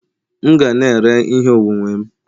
M ga na-ere ihe onwunwe m